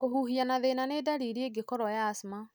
Kũhuhia na thĩna nĩ ndariri ĩngĩkorwo ya asthma.